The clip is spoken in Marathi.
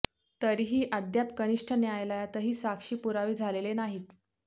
तरीही अद्याप कनिष्ठ न्यायालयातही साक्षी पुरावे झालेले नाहीत